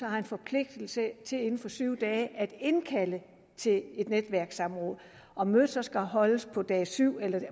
har en forpligtelse til inden for syv dage at indkalde til et netværkssamråd om mødet så skal holdes på dag syv eller